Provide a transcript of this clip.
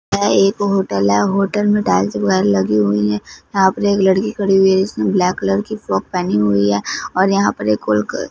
यहां एक होटल है होटल में टाइल्स लगी हुई है यहां एक लड़की खड़ी हुई जिसने ब्लैक कलर की फ्रॉक पहनी हुई है और यहां पर एक कुल--